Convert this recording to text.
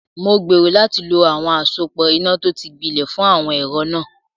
Mo gbèrò láti lo àwọn àsopọ̀ iná tó ti gbilẹ̀ fún àwọn ẹ̀rọ náà.